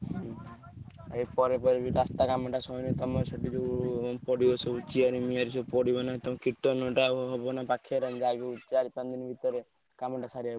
ଉଁହୁଁ ଆ ପରେ ରାସ୍ତା କାମଟା ସବୁ ଯଉ ପଡିବ chain ମିଆର ସବୁ ପଡିବ ନା ଚାରି ପାଞ୍ଚ ଦିନ ଭିତରେ କାମ ଟା ସାରିବାକୁ ପଡିବ।